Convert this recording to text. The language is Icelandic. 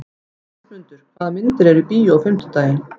Kristmundur, hvaða myndir eru í bíó á fimmtudaginn?